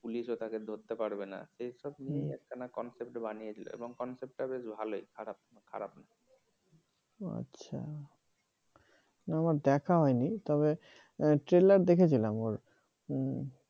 পুলিশও তাকে ধরতে পারবে না এসব নিয়েই একখানা concept বানিয়েছিল এবং concept বেশ ভালই খারাপ খারাপ নয় ও আচ্ছা আমার দেখা হয়নি তবে trailer দেখেছিলাম ওর হুম